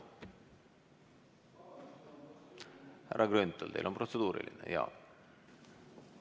Härra Grünthal, kas teil on protseduuriline?